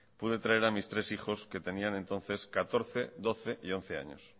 pude traer a mis tres hijos que tenían entonces catorce doce y once años